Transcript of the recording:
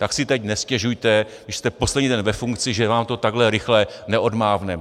Tak si teď nestěžujte, když jste poslední den ve funkci, že vám to takhle rychle neodmávneme.